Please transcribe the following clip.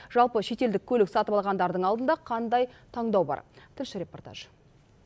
жалпы шетелдік көлік сатып алғандардың алдында қандай таңдау бар тілші репортажы